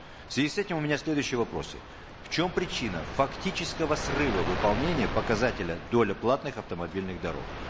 в связи с этим у меня следующие вопросы в чем причина фактического срыва выполнения показателя доля платных автомобильных дорог